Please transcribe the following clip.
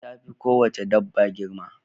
Giwa ta fi ko wace dabba girma